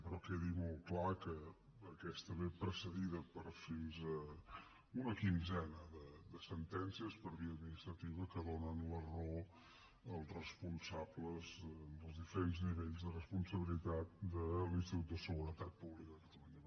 però quedi molt clar que aquesta ve precedida per fins a una quinzena de sentències per via administrativa que donen la raó als responsables en els diferents nivells de responsabilitat de l’institut de seguretat pública de catalunya